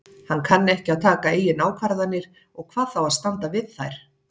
Hann kann ekki að taka eigin ákvarðanir og hvað þá að standa við þær.